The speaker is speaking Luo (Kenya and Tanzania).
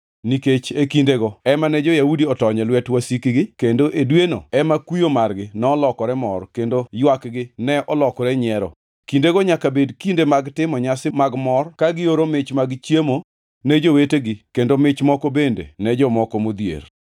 nikech e kindego ema ne jo-Yahudi otony e lwet wasikgi kendo e dweno ema kuyo margi nolokore mor kendo ywakgi ne olokore nyiero. Kindego nyaka bed kinde mag timo nyasi mag mor ka gioro mich mag chiemo ne jowetegi kendo mich moko bende ne jomoko modhier.